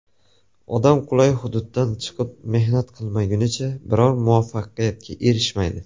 Odam qulay hududdan chiqib, mehnat qilmagunicha biror muvaffaqiyatga erishmaydi.